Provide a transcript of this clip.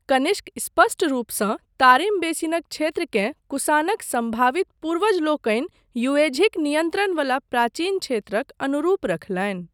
कनिष्क स्पष्ट रूपसँ तारिम बेसिनक क्षेत्रकेँ कुषाणक सम्भावित पूर्वजलोकनि युएझीक नियन्त्रण बला प्राचीन क्षेत्रक अनुरूप रखलनि।